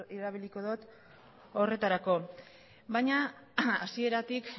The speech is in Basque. erabiliko dut horretarako baina hasieratik